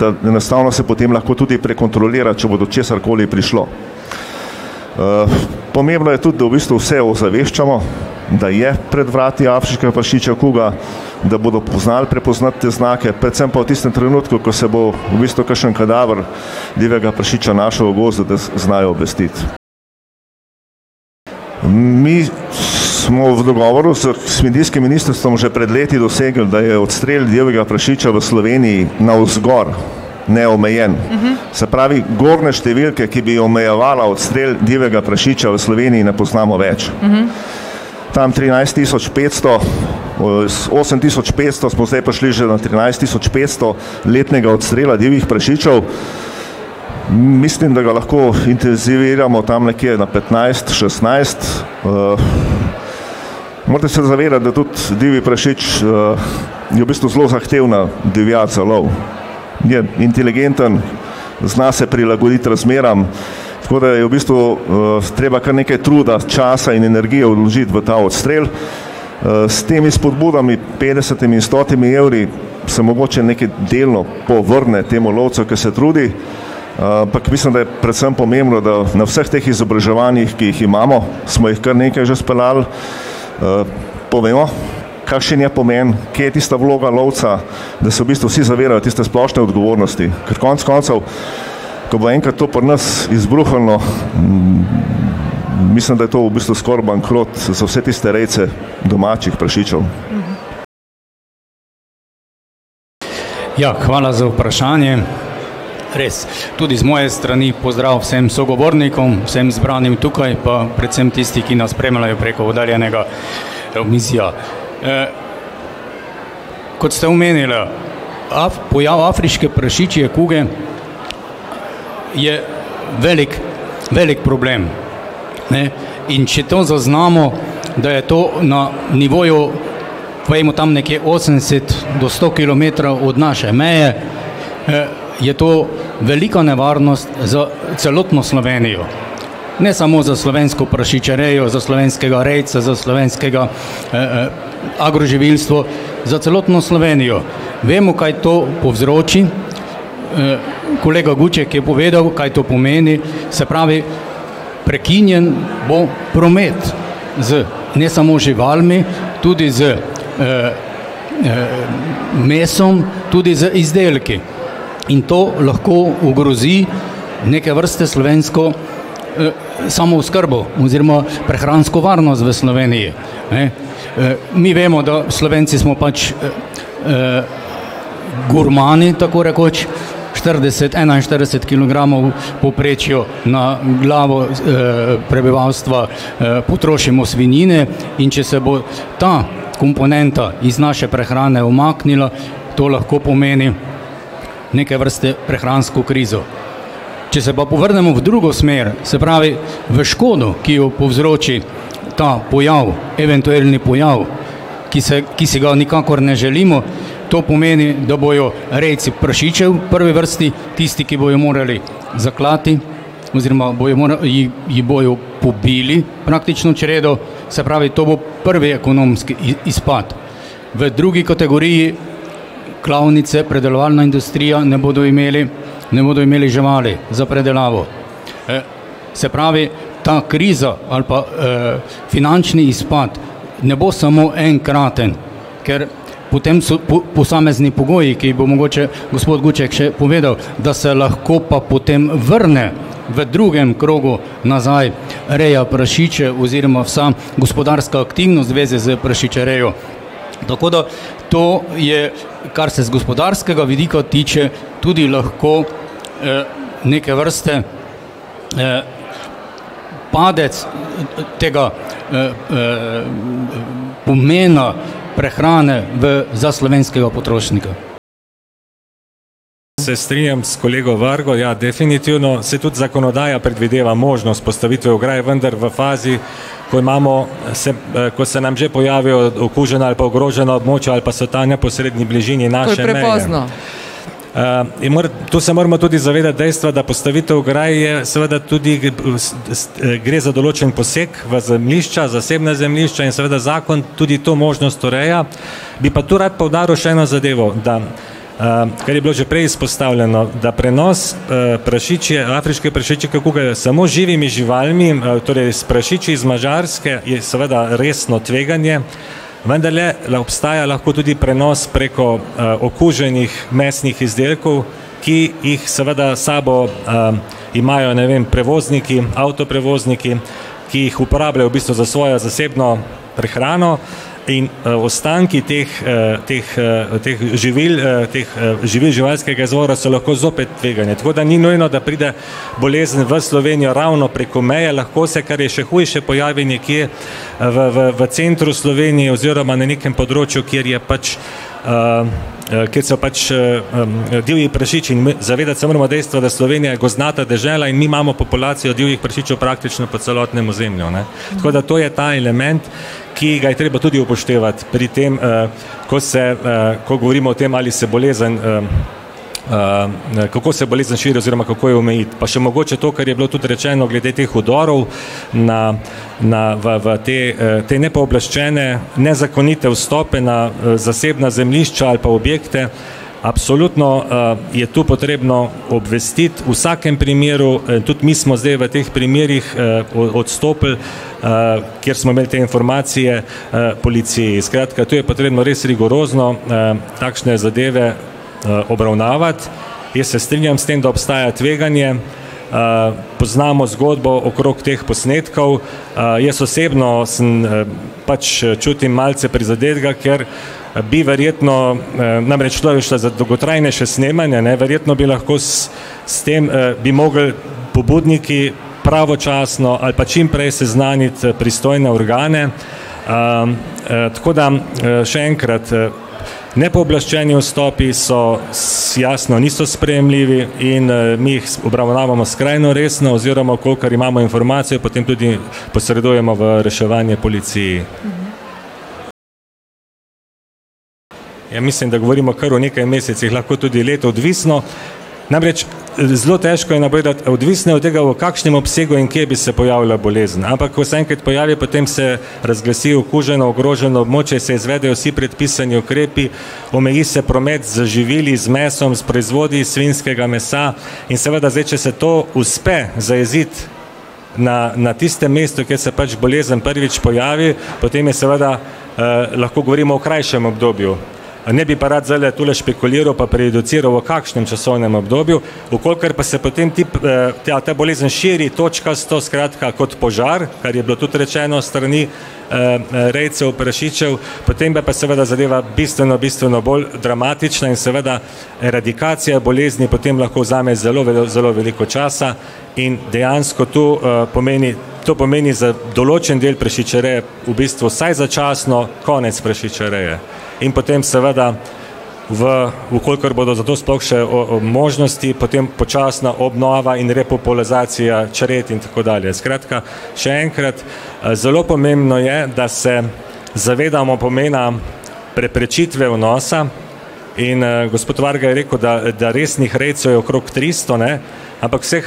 da enostavno se potem lahko tudi prekontrolira, če bo do česar koli prišlo. pomembno je tudi, da v bistvu vse ozaveščamo, da je pred vrati afriška prašičja kuga, da bodo poznali prepoznati te znake, predvsem pa v tistem trenutku, ko se bo v bistvu kakšen kadaver divjega prašiča našel v gozdu, da znajo obvestiti. Mi smo v dogovoru s kmetijskim ministrstvom že pred leti dosegli, da je odstrel divjega prašiča v Sloveniji navzgor neomejen, se pravi gornje številke, ki bo omejevala odstrel divjega prašiča v Sloveniji, ne poznamo več. Tam trinajst tisoč petsto, osem tisoč petsto smo zdaj prišli že na trinajst tisoč petsto letnega odstrela divjih prašičev. Mislim, da ga lahko intenziviramo tam nekje na petnajst, šestnajst, morate se zavedati, da tudi divji prašič, je v bistvu zelo zahtevna divjad za love. Je inteligenten, zna se prilagoditi razmeram, tako da je v bistvu, treba kar nekaj truda, časa in energije vložiti v ta odstrel. s temi spodbudami petdesetimi, stotimi evri se mogoče nekaj delno povrne temu lovcu, ke se trudi. ampak mislim, da je predvsem pomembno, na vseh teh izobraževanjih, ki jih imamo, smo jih kar nekaj že jih speljali, povemo, kakšen je pomen, kje je tista vloga lovca, da se v bistvu vsi zavedajo tiste splošne odgovornosti. Ker konec koncev, ko bo enkrat to pri nas izbruhnilo, mislim, da je to v bistvu skoraj bankrot za vse tiste rejce domačih prašičev. Ja, hvala za vprašanje. Res tudi iz moje strani pozdrav vsem sogovornikom, vsem zbranim tukaj pa predvsem tisti, ki nas spremljajo preko oddaljenega omizja. kot ste omenila, pojav afriške prašičje kuge je velik, velik problem, ne. In če to zaznamo, da je to na nivoju, pojdimo tam nekje osemdeset do sto kilometrov od naše meje, je to velika nevarnost za celotno Slovenijo. Ne samo za slovensko prašičjerejo, za slovenskega rejca, za slovenskega, agroživilstvo. Za celotno Slovenijo. Vemo, kaj to povzroči, kolega Guček je povedal, kaj to pomeni, se pravi, prekinjen bo promet z ne samo živalmi tudi z, mesom, tudi z izdelki. In to lahko ogrozi neke vrste slovensko, samooskrbo oziroma prehransko varnost v Sloveniji, ne. mi vemo, da Slovenci smo pač, gurmani tako rekoč, štirideset, enainštirideset kilogramov v povprečju na glavo, prebivalstva, potrošimo svinjine, in če se bo ta komponenta iz naše prehrane umaknila, to lahko pomeni neke vrste prehransko krizo. Če se pa povrnemo v drugo smer, se pravi, v škodo, ki jo povzroči ta pojav, eventuelni pojav. Ki se, ki si ga nikakor ne želimo, to pomeni, da bojo rejci prašičev v prvi vrsti tisti, ki bojo morali zaklati oziroma bojo ji, ji bojo pobili praktično čredo. Se pravi to bo prvi ekonomski izpad. V drugi kategoriji klavnice, pridelovalna industrija ne bodo imeli, ne bodo imeli živali za predelavo. se pravi ta kriza ali pa, finančni izpad ne bo samo enkraten, ker potem so posamezni pogoji, ki jih bo mogoče gospod Guček še povedal, da se lahko pa potem vrne v drugem krogu nazaj reja prašičev oziroma vsa gospodarska aktivnost v zvezi s prašičerejo. Tako da to je, kar se z gospodarskega vidika tiče, tudi lahko, neke vrste, padec tega, pomena prehrane v za slovenskega potrošnika. Se strinjam s kolego Vargo, ja, definitivno, saj tudi zakonodaja predvideva možnost postavitve ograj, vendar v fazi, ko imamo, se, ko se nam že pojavijo okužena ali pa ogrožena območja ali pa so ta v neposredni bližini. ji to se moramo tudi zavedati dejstva, da postavitev ograj je seveda tudi se, se gre za določen poseg v zemljišča, v zasebna zemljišča in seveda zakon tudi to možnost ureja, bi pa to rad poudaril še eno zadevo, da, kar je bilo že prej izpostavljeno, da prenos, prašičje afriške prašičje kuge s samo živimi živalmi, torej s prašiči z Madžarske je seveda resno tveganje, vendarle, le obstaja lahko tudi prenos preko, okuženih mesnih izdelkov, ki jih seveda s sabo, imajo, ne vem, prevozniki, avtoprevozniki ki jih uporabljajo v bistvu za svojo zasebno prehrano. In, ostanki teh, teh, teh živil, teh živil živalskega izvora so lahko zopet tvegane, tako da ni nujno, da pride bolezen v Slovenijo ravno preko meje, lahko se, kar je še hujše, pojavi nekje v, v, v centru Slovenije oziroma na nekem področju, kjer je pač, kjer so pač, divji prašiči, zavedati se moramo dejstva, da Slovenija je gozdnata dežela in mi imamo populacijo divjih prašičev praktično po celotnem ozemlju, ne. Tako da to je ta element, ki ga je treba tudi upoštevati pri tem, ko se, ko govorimo o tem, ali se bolezen, kako se bolezen kateri, oziroma kako jo omejiti, pa še mogoče to, kar je bilo tudi rečeno glede teh vdorov na, na v, v, te, te nepooblaščene, nezakonite vstope na, zasebna zemljišča ali pa objekte absolutno, je to potrebno obvestiti v vsakem primeru, tudi mi smo zdaj v teh primerih, odstopili, kjer smo imeli te informacije, policiji, skratka to je potrebno res rigorozno, takšne zadeve, obravnavati. Jaz se strinjam s tem, da obstaja tveganje. poznamo zgodbo okrog teh posnetkov, jaz osebno sem, pač, čutim malce prizadetega, ker, bi verjetno, namreč tule je šlo za dolgotrajnejše snemanje ne, verjetno bi lahko s, s tem, bi mogli pobudniki pravočasno ali pa čimprej seznaniti pristojne organe, tako da, še enkrat nepooblaščeni vstopi so jasno niso sprejemljivi in, mi jih obravnavamo skrajno resno, oziroma kakor imamo informacijo potem, tudi posredujemo v reševanje policiji. Ja, mislim, da govorimo kar o nekaj mesecih lahko tudi let, odvisno, namreč zelo težko je napovedati, odvisno je od tega, v kakšnem obsegu in kje bi se pojavila bolezen, ampak ko se enkrat pojavi, potem se razglasi okuženo, ogroženo obočje, se izvedejo vsi predpisani ukrepi, omeji se promet z živili z mesom, s proizvodi iz svinjskega mesa. In seveda zdaj, če so to uspe zajeziti, na, na tistem mestu, kjer se pač bolezen prvič pojavi, potem je seveda, lahko govorimo o krajšem obdobju. Ne bi pa rad zdajle tule špekuliral pa prejudiciral, v kakšnem časovnem obdobju, v kolikor pa se potem ti, ta bolezen širi, točkasto, skratka, kot požar, kar je bilo tudi rečeno s strani, rejcev prašičev, potem bo pa seveda zadeva bistveno, bistveno bolj dramatična in seveda, eradikacija bolezni potem lahko vzame zelo zelo veliko časa in dejansko tu, pomeni, to pomeni za določen del prašičereje v bistvu vsaj začasno konec prašičereje. In potem seveda, v, v kolikor bodo zato sploh še, možnosti, potem počasna obnova in repopulizacija čred in tako dalje, skratka, še enkrat, zelo pomembno je, da se zavedamo pomena preprečitve vnosa in, gospod Vargelj je rekel, da, da resnih rejcev je okrog tristo, ne, ampak vseh